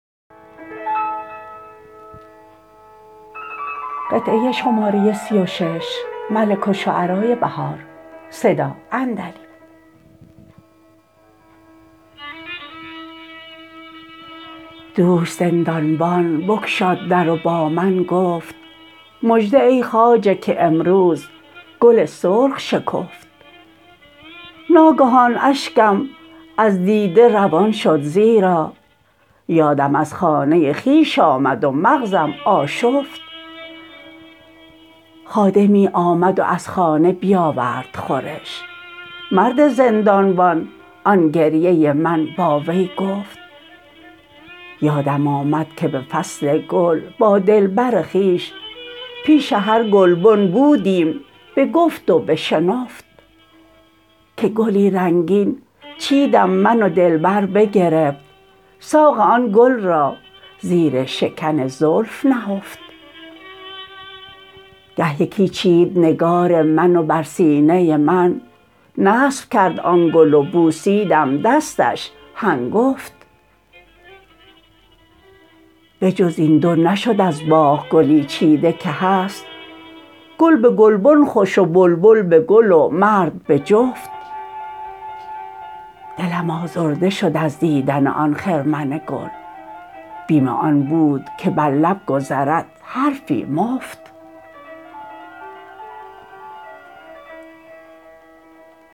دوش زندانبان بگشاد در و با من گفت مژده ای خواجه که امروز گل سرخ شکفت ناگهان اشگم از دیده روان شد زیرا یادم از خانه خویش آمد و مغزم آشفت خادمی آمد و از خانه بیاورد خورش مرد زندانبان آن گریه من با وی گفت یادم آمد که به فصل گل با دلبر خویش پیش هر گلبن بودیم به گفت و به شنفت که گلی رنگین چیدم من و دلبر بگرفت ساق آن گل را زیر شکن زلف نهفت گه یکی چید نگار من و بر سینه من نصب کرد آن گل و بوسیدم دستش هنگفت بجز این دو نشد از باغ گلی چیده که هست گل به گلبن خوش و بلبل به کل و مرد به جفت دلم آزرده شد از دیدن آن خرمن گل بیم آن بود که بر لب گذرد حرفی مفت